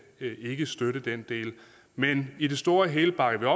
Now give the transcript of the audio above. ikke støtte den del men i det store og hele bakker